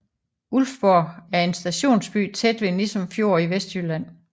Ulfborg er en stationsby tæt ved Nissum Fjord i Vestjylland